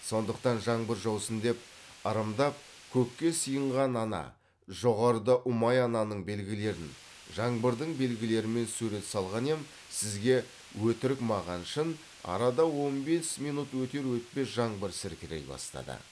сондықтан жаңбыр жаусын деп ырымдап көкке сыйынған ана жоғарыда ұмай ананың белгілерін жаңбырдың белгілерімен сурет салған ем сізге өтірік маған шын арада он бес минут өтер өтпес жаңбыр сіркірей бастады